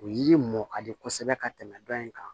O yiri mɔn ka di kosɛbɛ ka tɛmɛ dɔ in kan